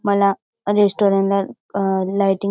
मला रेस्टॉरंट ला अ लाईटींग --